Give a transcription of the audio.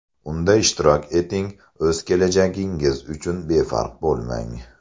Unda ishtirok eting, o‘z kelajagingiz uchun befarq bo‘lmang!